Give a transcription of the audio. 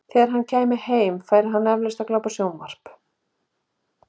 Þegar hann kæmi heim, færi hann eflaust að glápa á sjónvarp.